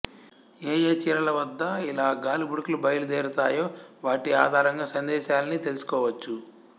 ఏ ఏ చీలల వద్ద ఇలా గాలి బుడగలు బయలు దేరతాయో వాటి ఆధారంగా సందేశాల్ని తెలుసుకోవచ్చు